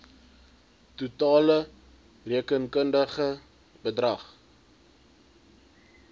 totale rekenkundige bedrag